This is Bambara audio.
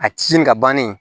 A ti nin ka bannen